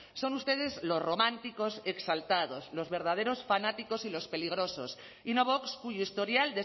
son ustedes los románticos exaltados los verdaderos fanáticos y los peligrosos y no vox cuyo historial